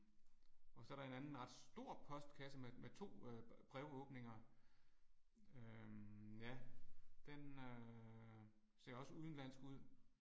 Og så der en anden ret stor postkasse med med 2 øh brevåbninger. Øh ja den øh ser også udenlandsk ud